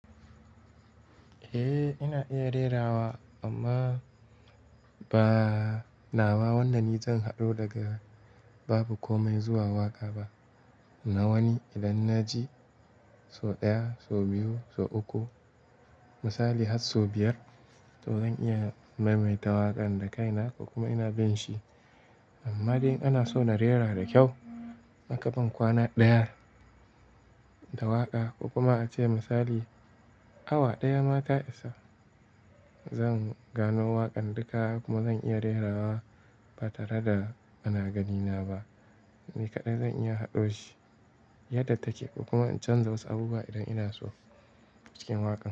Eh, ina iya rera wa amma ba nawa wannan ni zan haɗu daga babu komai zuwa waƙa ba. Na wani idan na ji sau ɗaya, sau biyu, sau uku misali har sau biyar to zan iya maimaita waƙan da kaina ko kuma ina bin shi. Amma dai ana so na rera da kyau, akaban kwana ɗaya da waƙa ko kuma ace misali awa ɗaya ma ta isa. Zan gano waƙan duka kuma zan iya rera wa ba tare da ana ganina ba. Ni kaɗai zan iya haɗo shi yadda take kuma in canza wasu abubuwa idan ina so acikin waƙa.